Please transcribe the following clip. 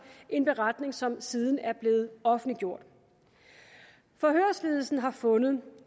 en beretning som siden er blevet offentliggjort forhørsledelsen har fundet